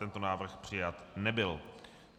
Tento návrh přijat nebyl.